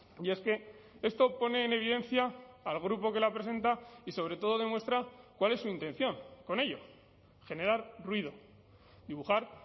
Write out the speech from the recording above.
y es que esto pone en evidencia al grupo que la presenta y sobre todo demuestra cuál es su intención con ello generar ruido dibujar